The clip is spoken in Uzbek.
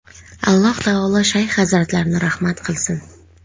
Alloh taolo shayx hazratlarini rahmat qilsin.